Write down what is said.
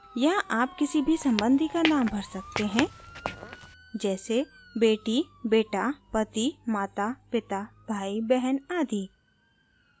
यहाँ आप किसी भी संबंधी का नाम भर सकते हैं जैसे बेटी बेटा पति माता पिता भाई बहन आदि